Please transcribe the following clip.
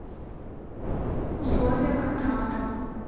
условия контракта